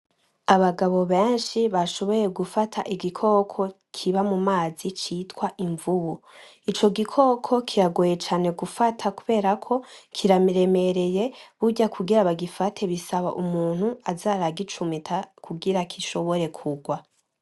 Abagabo benshi bashoboye gufata igikoko kiba mu mazi bita imvubu, Ico gikoko kiragoye cane gufata kubera kiremereye burya kugira bagifate basabako baza baragicumita kugira gishobore kurwa.